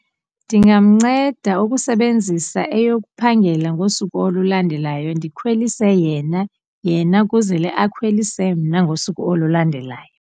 Ndingamnceda ukusebenzisa eyokuphangela ngosuku olulandelayo ndikhwelise yena, yena ukuzele akhwelise mna ngosuku olulandelayo.